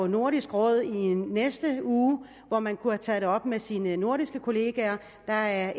i nordisk råd i næste uge hvor man kunne tage det op med sine nordiske kollegaer der er